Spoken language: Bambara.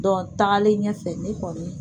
tagalen ɲɛfɛ ne kɔni